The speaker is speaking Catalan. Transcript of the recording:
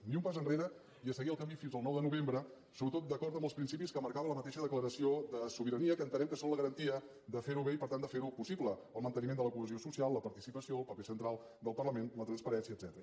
ni un pas enrere i a seguir el camí fins al nou de novembre sobretot d’acord amb els principis que marcava la mateixa declaració de sobirania que entenem que són la garantia de fer ho bé i per tant de fer ho possible el manteniment de la cohesió social la participació el paper central del parlament la transparència etcètera